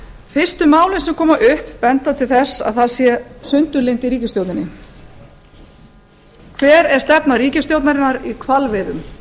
fyrstu málin sem koma upp benda til þess að það sé sundurlyndi í ríkisstjórninni hver er stefna ríkisstjórnarinnar í hvalveiðum